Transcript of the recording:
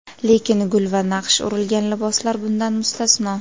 Lekin gul va naqsh urilgan liboslar bundan mustasno.